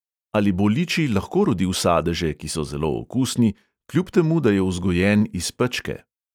Ali bo liči lahko rodil sadeže, ki so zelo okusni, kljub temu da je vzgojen iz pečke?